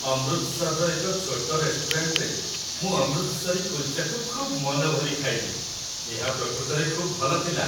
ଅମୃତସରର ଏକ ଛୋଟ ରେଷ୍ଟୁରାଣ୍ଟରେ ମୁଁ ଅମୃତସରୀ କୁଲ୍ଚାକୁ ଖୁବ୍ ମନଭରି ଖାଇଲି। ଏହା ପ୍ରକୃତରେ ଖୁବ୍ ଭଲ ଥିଲା।